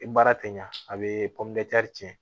I baara tɛ ɲa a be cɛn